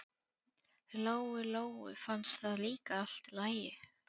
Lóu Lóu fannst það líka allt í lagi.